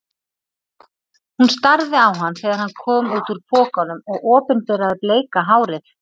Hún starði á hann þegar hann kom út úr pokanum og opinberaði bleika hárið.